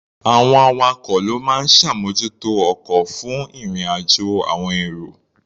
Àwọn awakọ̀ ló máa ń ṣàmójútó ọkọ̀ fún ìrìn-àjò àọn èrò.